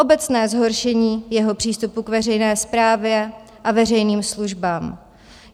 Obecné zhoršení jeho přístupu k veřejné správě a veřejným službám.